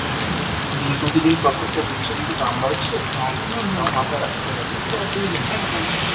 দিন প্রতিদিন প্রত্যেকটা জিনিসেরই তো দাম বাড়ছে আমাদের সেটাও মাথায় রাখতে হবে তো অসুবিধা নেই